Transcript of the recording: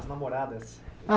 As namoradas.